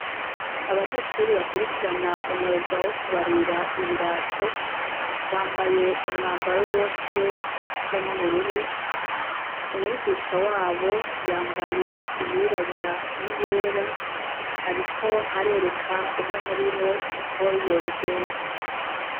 Abanyeshuri bakwirikirana umwugawo wo kubarira ibirato bambaye umwambaro bose usa n'ubururu umwigisha wabo yambaye iyirabura ni yera, ariko arereka umwe muri bo uko yobigenza.